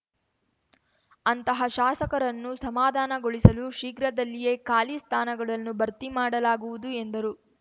ಅಂತಹ ಶಾಸಕರನ್ನು ಸಮಾಧಾನಗೊಳಿಸಲು ಶೀಘ್ರದಲ್ಲಿಯೇ ಖಾಲಿ ಸ್ಥಾನಗಳನ್ನು ಭರ್ತಿ ಮಾಡಲಾಗುವುದು ಎಂದರು